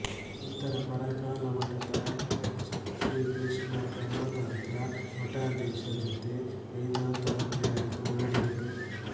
ನಂತರ ಪರಕಾಲ ಮಠದ H H Shri Krishna Brahmatantra ಮಠಾಧೀಶ ಜೊತೆ ವೇದಾಂತ ಅಧ್ಯಯನ ಮಾಡಿದರು